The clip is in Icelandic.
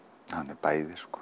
er bæði sko